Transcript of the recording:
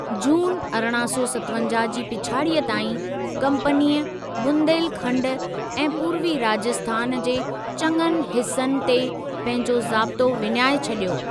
जून अरिड़हं सौ सतवंजाहु जी पिछाड़ीअ ताईं, कंपनीअ बुंदेलखंड ऐं पूर्वी राजस्थान जे चङनि हिसनि ते पंहिंजो ज़ाब्तो विञाए छॾियो।